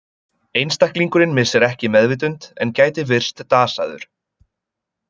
Einstaklingurinn missir ekki meðvitund en gæti virst dasaður.